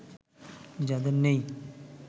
যাদের নেই